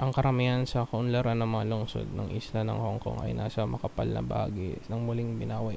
ang karamihan sa kaunlaran ng mga lungsod ng isla ng hongkong ay nasa makapal na bahagi ng muling binawi